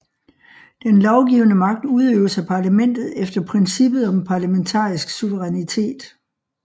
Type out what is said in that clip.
Den lovgivende magt udøves af parlamentet efter princippet om parlamentarisk suverænitet